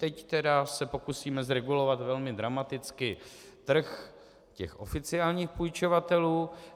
Teď tedy se pokusíme zregulovat velmi dramaticky trh těch oficiálních půjčovatelů.